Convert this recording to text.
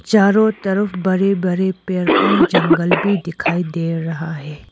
चारो तरफ बड़े बड़े पेड़ और जंगल भी दिखाई दे रहा है।